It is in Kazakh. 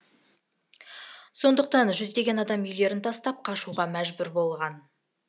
сондықтан жүздеген адам үйлерін тастап қашуға мәжбүр болған